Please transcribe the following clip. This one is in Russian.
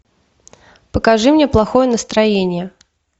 покажи мне плохое настроение